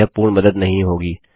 यह पूर्ण मदद नहीं होगी